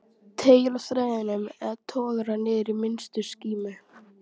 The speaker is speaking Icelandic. Teygir á þræðinum eða togar hann niður í minnstu skímu?